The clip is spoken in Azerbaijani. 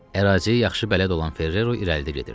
Əraziyə yaxşı bələd olan Ferrero irəlidə gedirdi.